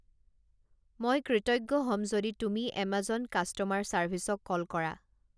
মই কৃতজ্ঞ হ'ম যদি তুমি এমাজন কাষ্ট'মাৰ চাৰ্ভিছক কল কৰা